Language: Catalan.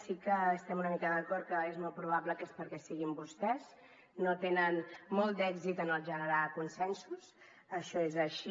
sí que estem una mica d’acord que és molt probable que és perquè siguin vostès no tenen molt d’èxit en el generar consensos això és així